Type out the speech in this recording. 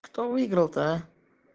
кто выиграл-то а